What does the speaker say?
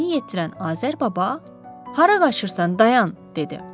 Özünü yetirən Azər baba, Hara qaçırsan dayan, dedi.